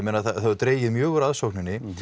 dregið mjög úr aðsókn